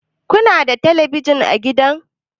Ku na da telebijin a gida?